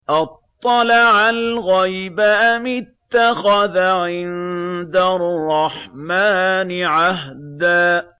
أَطَّلَعَ الْغَيْبَ أَمِ اتَّخَذَ عِندَ الرَّحْمَٰنِ عَهْدًا